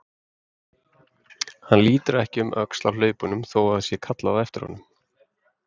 Hann lítur ekki um öxl á hlaupunum þó að það sé kallað á eftir honum.